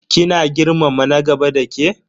Kina girmama na gaba dake?